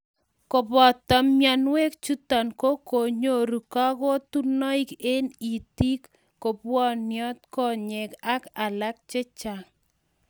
kuboto mionwek choto ko konyoru kakutunoik eng' itik, kubwonio konyek ak alak